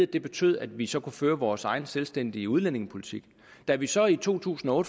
det betød at vi så kunne føre vores egen selvstændige udlændingepolitik da vi så i to tusind og